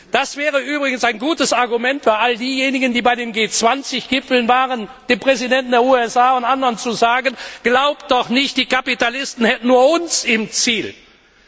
Das wäre übrigens ein gutes Argument für all diejenigen, die bei den G 20 Gipfeln waren, dem Präsidenten der USA und anderen zu sagen, glaubt doch nicht, die Kapitalisten hätten nur uns im Visier.